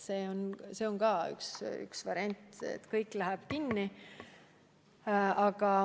See on ka üks variant, et kõik läheb kinni.